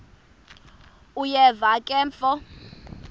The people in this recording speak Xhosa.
uyeva ke mfo